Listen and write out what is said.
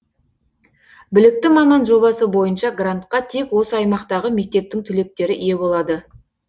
білікті маман жобасы бойынша грантка тек осы аймақтағы мектептің түлектері ие болады